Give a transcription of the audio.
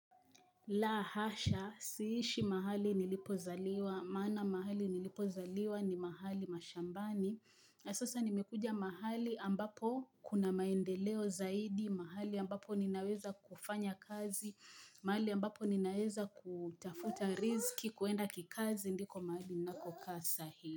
La hasha, siishi mahali nilipozaliwa maana mahali nilipozaliwa ni mahali mashambani. Na sasa nimekuja mahali ambapo kuna maendeleo zaidi, mahali ambapo ninaweza kufanya kazi, mahali ambapo ninaweza kutafuta riziki, kuenda kikazi, ndiko mahali ninakokaa saa hii.